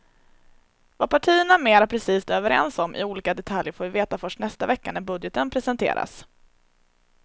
Vad partierna mera precist är överens om i olika detaljer får vi veta först nästa vecka när budgeten presenteras.